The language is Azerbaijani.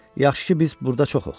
Yaxşı ki, biz burda çoxuq.